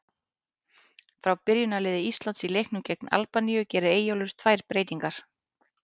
Frá byrjunarliði Íslands í leiknum gegn Albaníu gerir Eyjólfur tvær breytingar.